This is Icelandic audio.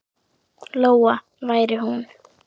Lóa væri hún.